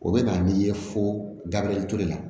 O bɛ na n'i ye fo gabriel ture la